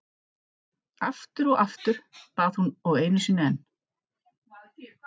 Aftur og aftur, bað hún og einu sinni enn.